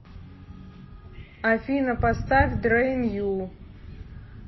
афина поставь дрэин ю